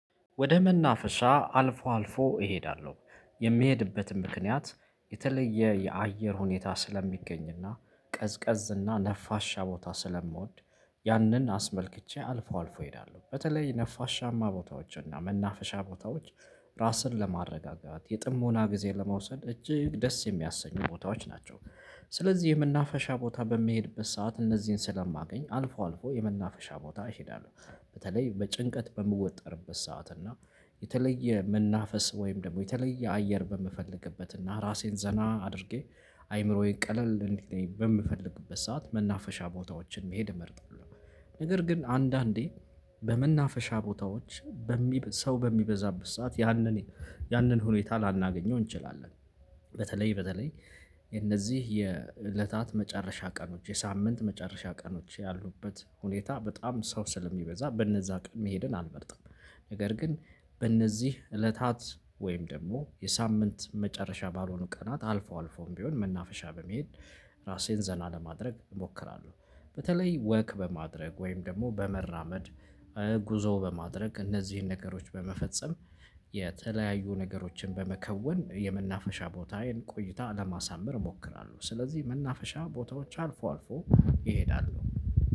ወደ መናፈሻ አልፎ አልፎ እሄዳለሁ የሚሄድበትም ምክንያት የተለየ የአየር ሁኔታ ስለሚገኝና ቀዝቀዝና ነፋሻ ቦታ ስለምወድ ያንን አስመልክቼ አልፎ አልፎ እሄዳለሁ በተለይ ነፋሻማ ቦታዎችና መናፈሻ ቦታዎች ራስን ለማረጋጋት የጥሞና ጊዜ ለመውሰድ እጅግ ደስ የሚያሰኙ ቦታዎች ናቸው። ስለዚህ የመናፈሻ ቦታ በሚሄድበት ሰዓት እነዚህን ስለማገኝ አልፎ አልፎ የመናፈሻ ቦታ ይሄዳሉ በተለይ በጭንቀት በምወጠርበት ሰዓት እና የተለየ መናፈስ ወይም ደግሞ የተለየ አየር በምፈልግበት እና ራሴን ዘና አድርጌ አይምሮዬን ቀለል እንዲልልኝ በምፈልግበት ሰዓት መናፈሻ ቦታዎችን መሄድ እመርጣለሁ። ነገር ግን አንዳንዴ በመናፈሻ ቦታዎች በሚበዛበት ሰዓት ያንን ያንን ሁኔታ ላናገኘው እንችላለን። በተለይ በተለይ እነዚህ የእለታት መጨረሻ ቀኖች የሳምንት መጨረሻ ቀኖች ያሉበት ሁኔታ በጣም ሰው ስለሚበዛ በነዛ ቀን መሄድን አልመርጥም። ነገር ግን በነዚህ እለታት ወይም ደግሞ የሳምንት መጨረሻ ባልሆኑ ቀናት አልፎ አልፎም ቢሆን መናፈሻ በመሄድ ራሴን ዘና ለማድረግ እሞክራለሁ። በተለይ ወክ በማድረግ ወይም ደግሞ በመራመድ ጉዞ በማድረግ እነዚህን ነገሮች በመፈጸም የተለያዩ ነገሮችን በመከወን የመናፈሻ ቦታዬን ቆይታ ለማሳመር እሞክራለሁ ስለዚህ መናፈሻ ቦታዎች አልፎ አልፎ እሄዳለሁ